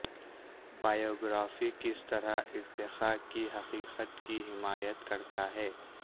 biography کس طرح ارتقاء کی حقیقت کی حمایت کرتا ہے